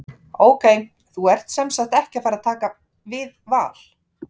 Ok, þú ert semsagt ekki að fara að taka við Val?